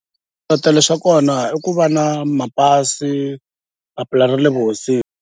Swiletelo swa kona i ku va na mapasi papila ra le vuhosini.